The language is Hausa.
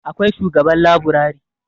akwai shugaban laburari